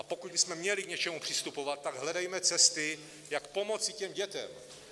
A pokud bychom měli k něčemu přistupovat, tak hledejme cesty, jak pomoci těm dětem.